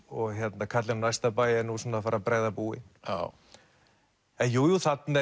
og karlinn á næsta bæ er að fara að bregða búi jú jú þarna